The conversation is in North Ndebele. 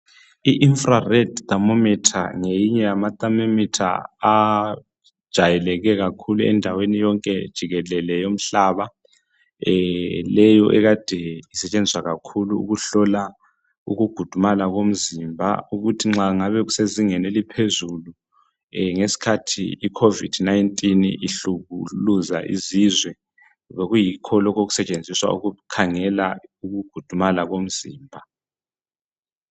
I infra red thermometer ngeyinye Yama thermometer ajayeleke kakhulu endaweni yonke jikelele yomhlaba , leyo akade isetshenziswa kakhulu ukuhlola ukukhudumala komzimba ukuthi nxa ngabe kusezingeni eliphezulu ngesikhathi I COVID-19 ihlukuluza izizwe bekuyikholokhu obekusetshenziswa ukukhangela ukukhudumala komzimba